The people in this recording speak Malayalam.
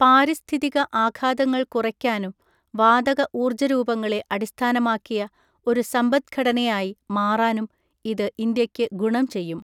പാരിസ്ഥിതിക ആഘാതങ്ങൾ കുറയ്ക്കാനും, വാതക ഊർജരൂപങ്ങളെ അടിസ്ഥാനമാക്കിയ ഒരു സമ്പത്ഘടനയായി മാറാനും ഇത് ഇന്ത്യയ്ക്ക് ഗുണം ചെയ്യും.